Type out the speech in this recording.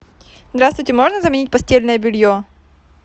здравствуйте можно заменить постельное белье